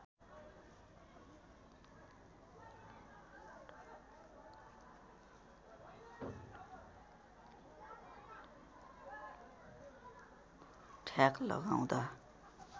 ठ्याक लगाउँदा